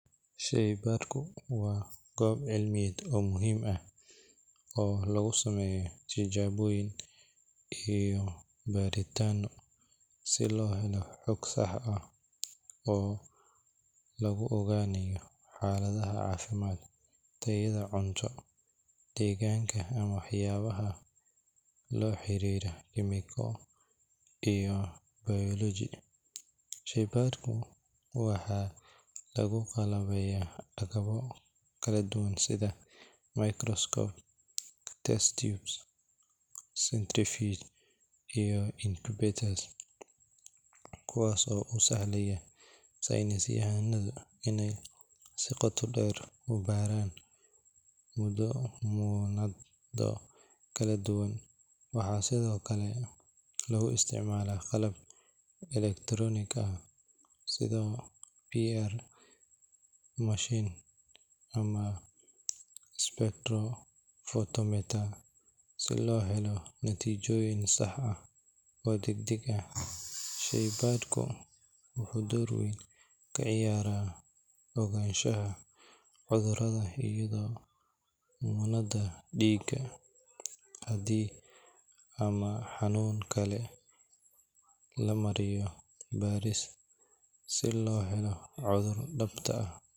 Shaybaadhka waa goob cilmiyeed muhiim ah oo lagu sameeyo tijaabooyin iyo baaritaano si loo helo xog sax ah oo lagu ogaanayo xaaladaha caafimaad, tayada cunto, deegaanka ama waxyaabaha la xiriira kiimiko iyo bayoloji. Shaybaadhyada waxaa lagu qalabeeyaa agabyo kala duwan sida microscope, test tubes, centrifuge, iyo incubator, kuwaas oo u sahlaya saynisyahannada inay si qoto dheer u baaraan muunado kala duwan. Waxaa sidoo kale lagu isticmaalaa qalab elektaroonig ah sida PCR machine ama spectrophotometer si loo helo natiijooyin sax ah oo degdeg ah. Shaybaadhku wuxuu door weyn ka ciyaaraa ogaanshaha cudurrada iyadoo muunado dhiig, kaadi ama xanuun kale la mariyo baaris si loo helo cudurka dhabta.